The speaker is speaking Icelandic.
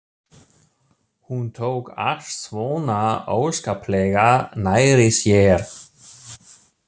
Hún tók allt svona óskaplega nærri sér.